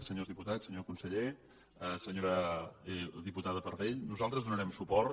senyors diputats senyor conseller senyora diputada pardell nosaltres donarem suport